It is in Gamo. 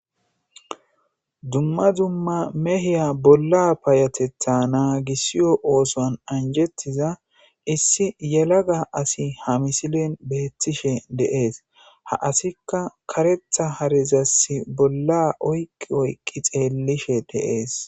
dumma dumma mehiya bolla payatetha naagisiyo ooson anjettiza issi yelaga asi ha misilen beettishe deees ha asikka karetha harezassi bolla oyqqi oyqqi xeellishe deees